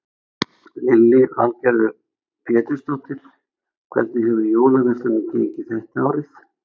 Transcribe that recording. Lillý Valgerður Pétursdóttir: Hvernig hefur jólaverslunin gengið þetta árið?